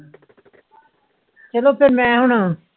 ਚਲੋ ਫੇਰ ਮੈ ਹੋਣਾ